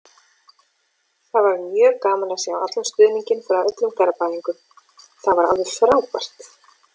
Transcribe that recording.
Það var mjög gaman að sjá allan stuðninginn frá öllum Garðbæingum, það var alveg frábært.